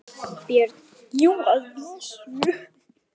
BJÖRN: Jú, að vísu.